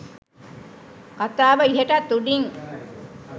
කතාව ඉහටත් උඩින්.